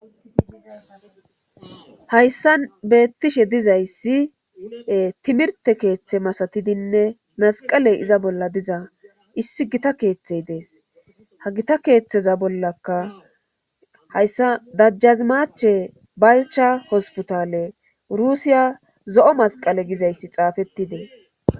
hayssa beettishe dizayssi timirte keeththe masatidinne masqaley iza bolla diza issi gita keeththey dees ha gita keeththeza bollaka hayssa dajjazimache balcha hospitaale rusiya zo7o masqale gizayssi xaafettidees